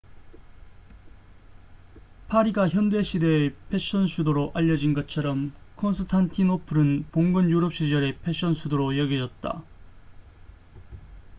파리가 현대 시대의 패션 수도로 알려진 것처렴 콘스탄티노플은 봉건 유럽 시절의 패션 수도로 여겨졌다